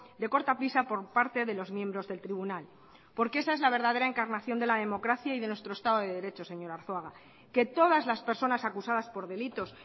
de cortapisa por parte de los miembros del tribunal porque esa es la verdadera encarnación de la democracia y de nuestro estado de derecho señor arzuaga que todas las personas acusadas por delitos